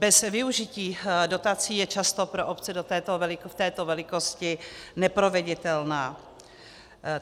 Bez využití dotací je často pro obce v této velikosti neproveditelná.